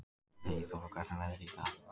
Eyþóra, hvernig er veðrið í dag?